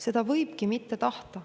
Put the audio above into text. " Seda võibki mitte tahta.